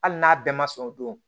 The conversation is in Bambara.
Hali n'a bɛɛ ma sɔn o don